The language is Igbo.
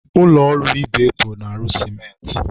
Ụlọ ọrụ Ibeto na-arụ sịmentị.